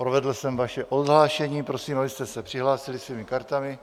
Provedl jsem vaše odhlášení, prosím, abyste se přihlásili svými kartami,